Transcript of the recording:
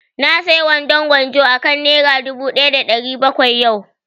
Na saya wandon gwanjo akan nera dubu ɗaya da ɗari bakwai yau